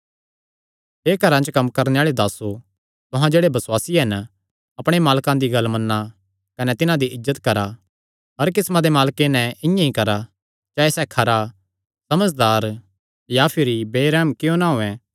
हे घरां च कम्म करणे आल़े दासो तुहां जेह्ड़े बसुआसी हन अपणे मालकां दी गल्ल मन्ना कने तिन्हां दी इज्जत करा हर किस्मा दे मालके नैं इआं ई करा चाहे सैह़ खरा समझदार या भिरी बेरैहम क्जो ना होयैं